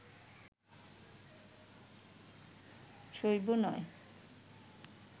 শৈব নয়